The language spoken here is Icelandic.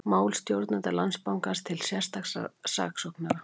Mál stjórnenda Landsbankans til sérstaks saksóknara